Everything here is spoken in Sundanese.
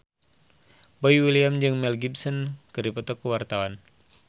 Boy William jeung Mel Gibson keur dipoto ku wartawan